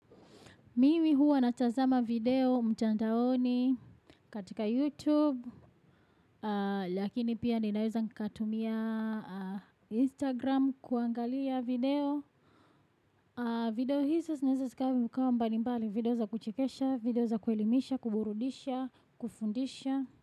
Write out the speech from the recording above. Mimi huwa natazama video mtiandaoni katika YouTube, lakini pia ninaweza nikatumia Instagram kuangalia video. Video hizo zinaweza zikawa mbukawa mbali mbali video za kuchikesha, video za kuelimisha, kuburudisha, kufundisha.